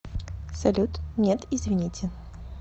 салют нет извините